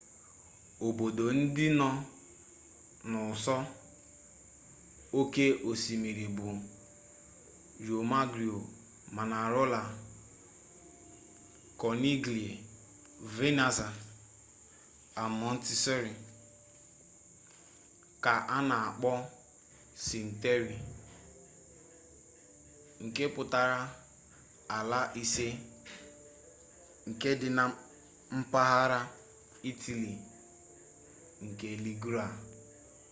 obodo ndị nọ n'ụsọ oke osimiri bụ riomaggiore manarola kọniglia venaza and monteroso ka a na-akpọ sinque terre nke pụtara ala ise nke dị na mpaghara itali nke liguria